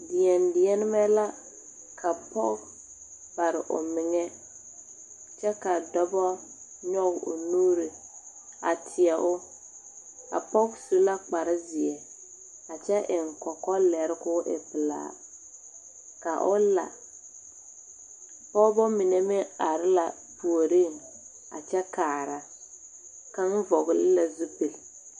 Deɛdeɛnemɛ la ka pɔge bare o meŋa kyɛ ka dɔba nyɔge o nuuri a teɛ o a pɔge su la kparezeɛ a kyɛ eŋ kɔkɔlɛre k,o e pelaa ka o la pɔgeba mine meŋ are la puoriŋ a kyɛ kaara kaŋ vɔgle la zupili.